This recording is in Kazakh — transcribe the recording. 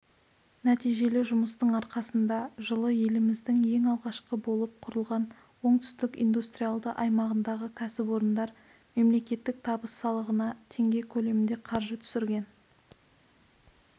нәтижелі жұмыстың арқасында жылы елімізде ең алғашқы болып құрылған оңтүстік индустриалды аймағындағы кәсіпорындар мемлекеттік табыс салығына теңге көлемінде қаржы түсірген